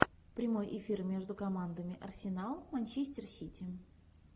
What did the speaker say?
прямой эфир между командами арсенал манчестер сити